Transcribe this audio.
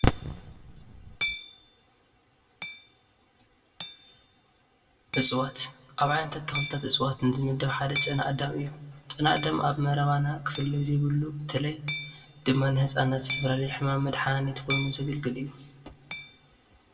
እፀዋት፡- ኣብ ዓይነታት ተክልታትን እፀዋትን ዝምደብ ሓደ ጨና ኣዳም እዩ፡፡ ጨና ኣዳም ኣብ መረባና ክፍለይ ዘይብሉ በተለይ ድማ ንህፃናት ንዝተፈላለዩ ሕማማት መድሓኒት ኮይኑ ዘገልግል እዩ፡፡፡፡